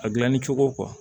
A gilanni cogo